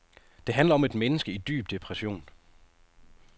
Det handler om et menneske i en dyb depression.